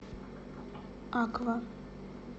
аква